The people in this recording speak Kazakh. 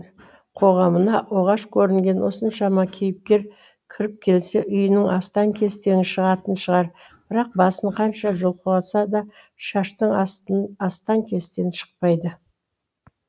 қоғамына оғаш көрінген осыншама кейіпкер кіріп келсе үйінің астан кестені шығатын шығар бірақ басын қанша жұлқыласа да шаштың астан кестен шықпайды